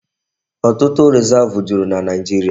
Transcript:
Ọtụtụ Rizavụ juru na Naijiria.